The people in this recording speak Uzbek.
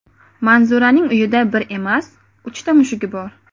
Manzuraning uyida bir emas, uchta mushugi bor.